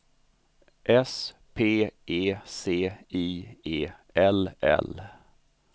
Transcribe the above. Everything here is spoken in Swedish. S P E C I E L L